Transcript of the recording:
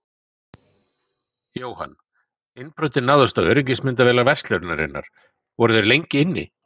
Jóhann: Innbrotið náðist á öryggismyndavélar verslunarinnar, voru þeir lengi inni?